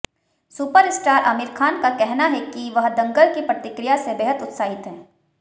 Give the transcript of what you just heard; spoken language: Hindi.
सुपरस्टार आमिर खान का कहना है कि वह दंगल की प्रतिक्रिया से बेहद उत्साहित हैं